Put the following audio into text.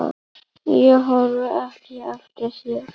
Ég horfi ekki eftir þér.